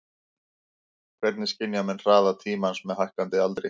Hvernig skynja menn hraða tímans með hækkandi aldri?